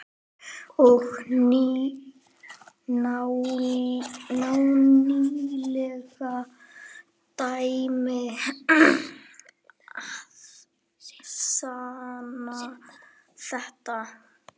Og nýleg dæmi sanna þetta.